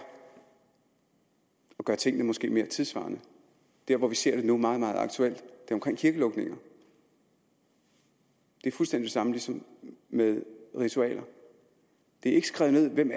at gøre tingene mere tidssvarende der hvor vi ser det nu meget meget aktuelt er omkring kirkelukninger det er fuldstændig det samme som med ritualer det er ikke skrevet ned hvem